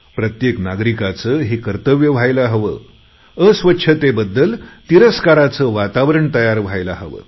प्रत्येक नागरिकाचं हे कर्तव्य व्हायला हवं अस्वच्छतेबद्दल तिरस्काराचे वातावरण तयार व्हायला हवे